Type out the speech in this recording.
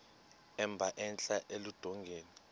emba entla eludongeni